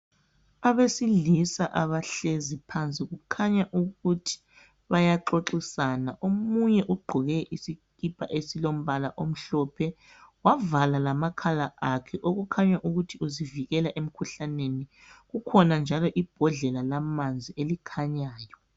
Abesilisa abahlezi phansi. Kukhanya ukuthi bayaxoxisana. Omunye ugqoke isikipa esilombala omhlophe, wavala lamakhala akhe okukhanya ukuthi uzivikela emkhuhlaneni. Kukhona mjalo ibhodlela lamanzi elikhanyayo.